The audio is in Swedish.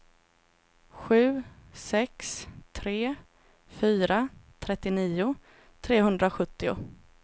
sju sex tre fyra trettionio trehundrasjuttio